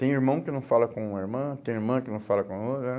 Tem irmão que não fala com a irmã, tem irmã que não fala com a outra.